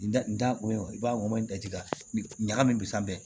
Da n da ko i b'a mɔ in daji ka ɲagami bi san bɛ